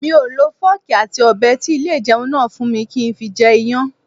Mi ò lo fọ́ọ̀kì àti Ọ̀bẹ tí ilé ìjẹun náà fún mi kí n fi jẹ Iyán.